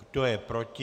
Kdo je proti?